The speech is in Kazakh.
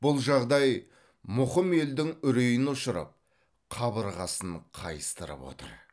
бұл жағдай мұқым елдің үрейін ұшырып қабырғасын қайыстырып отыр